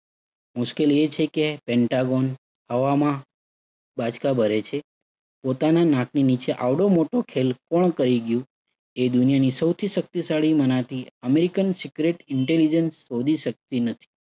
મુશ્કેલી એ છે કે પેન્ટાગોન હવામાં બાચકા ભરે છે. પોતાના નાકની નીચે આવડો મોટો ખેલ કોણ કરી ગયું એ દુનિયાની સૌથી શક્તિશાળી મનાતી American secret intelligence શોધી શક્તિ નથી.